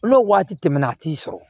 N'o waati tɛmɛna a t'i sɔrɔ